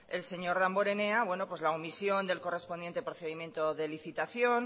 el señor damborenea la omisión del correspondiente procedimiento de licitación